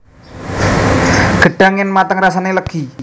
Gedhang yèn mateng rasané lêgi